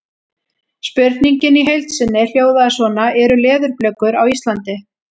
Spurningin í heild sinni hljóðaði svona: Eru leðurblökur á Íslandi?